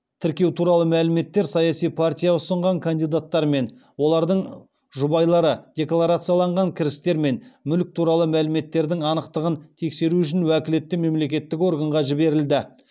тіркеу туралы мәліметтер саяси партия ұсынған кандидаттар мен олардың жұбайлары декларациялаған кірістер мен мүлік туралы мәліметтердің анықтығын тексеру үшін уәкілетті мемлекеттік органға жіберілді